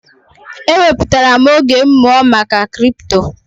E wepụtara m oge m mụọ maka kripto.